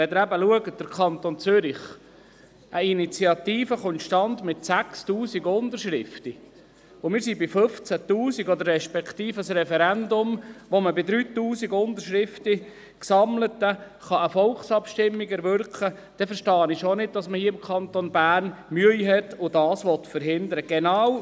Wenn Sie den Kanton Zürich betrachten, sehen Sie, dass eine Initiative mit 6000 Unterschriften zustande kommt, während wir bei 15 000 sind, respektive mit 3000 gesammelten Unterschriften mit einem Referendum eine Volksabstimmung erwirkt werden kann, verstehe ich schon nicht, dass man hier im Kanton Bern Mühe hat und es verhindern will.